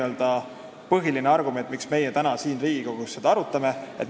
See on see põhiline argument, miks me täna siin Riigikogus seda arutame.